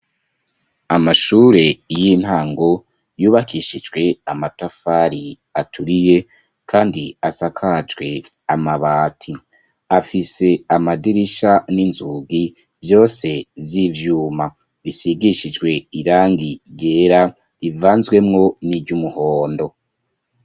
Amashure y'intango yubakishijwe amatafari aturiye kandi asakajwe amabati , afise amadirisha n'inzugi vyose vy'ivyuma bisigishijwe irangi ryera rivanzwemwo niry'umuhondo.